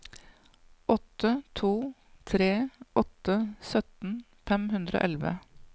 åtte to tre åtte sytten fem hundre og elleve